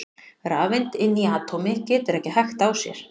Rafeind inni í atómi getur ekki hægt á sér!